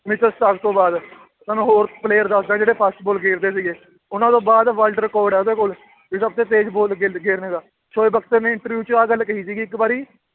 ਤੋਂ ਬਾਅਦ ਤੁਹਾਨੂੰ ਹੋਰ player ਦੱਸਦਾਂ ਜਿਹੜੇ fast ਬਾਲ ਖੇਲਦੇ ਸੀਗੇ, ਉਹਨਾਂ ਤੋਂ ਬਾਅਦ world record ਹੈ ਉਹਦੇ ਕੋਲ ਤੇ ਸਭ ਤੇ ਤੇਜ਼ ਬਾਲ ਖੇਲ ਖੇਲਣੇ ਦਾ, ਸੋਏ ਬਖਤਰ ਨੇ interview 'ਚ ਆਹ ਗੱਲ ਕਹੀ ਸੀਗੀ ਇੱਕ ਵਾਰੀ